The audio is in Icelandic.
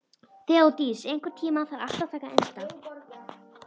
Þeódís, einhvern tímann þarf allt að taka enda.